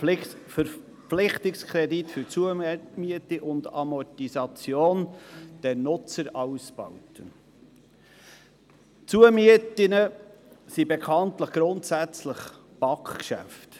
Verpflichtungskredit für Zumiete und Amortisation der Nutzerausbauten» – bekanntlich sind Zumieten grundsätzlich BaK-Geschäfte.